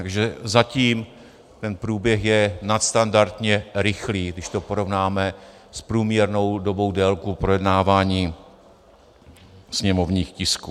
Takže zatím ten průběh je nadstandardně rychlý, když to porovnáme s průměrnou dobou délkou projednávání sněmovních tisků.